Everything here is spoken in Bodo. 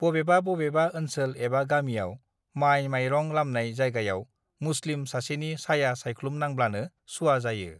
बबेबा बबेबा ओनसोल एबा गामियाव माइ मायरं लामनाय जायगायाव मुसलिम सासेनि साया साइख्लुम नांब्लानो सुवा जायो